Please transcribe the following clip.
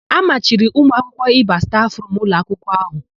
A machiri ụmụakwụkwọ ịba stafụrumu ụlọakwụkwọ áhụ̀.